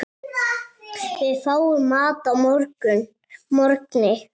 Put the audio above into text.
Við fáum mat að morgni.